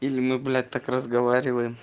или мы блять так разговариваем